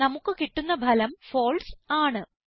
നമുക്ക് കിട്ടുന്ന ഫലം ഫാൽസെ ആണ്